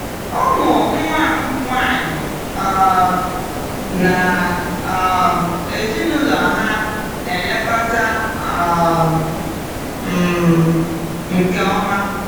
Ụmụ nwa m nwanyị um na um ezinụlọ ha na-elekọta um m nke ọma.